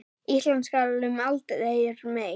Ísland skal um aldur mey